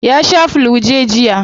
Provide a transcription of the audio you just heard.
Ya shaa flu-j jiya.